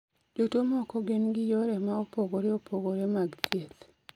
Jotuwo moko gin gi yore ma opogore opogore mag thieth